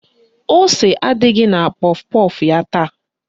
Ose adịghị na kpọf kpọf ya taa